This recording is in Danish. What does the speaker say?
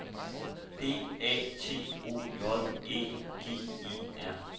D A T O J Æ G E R